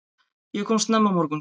Ég kom snemma morguns.